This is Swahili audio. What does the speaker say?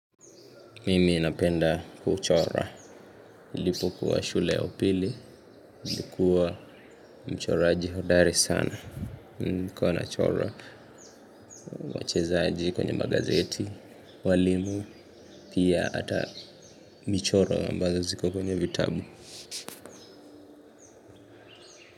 Mimi napenda kuchora, nilipo kuwa shule ya upili, nilikuwa mchoraji hodari sana, nilikuwa nachora, wachezaji kwenye magazeti, walimu, pia ata michora ambazo ziko kwenye vitabu.